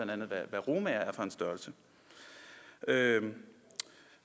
hvad romaer er for en størrelse herre